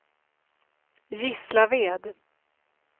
Gislaved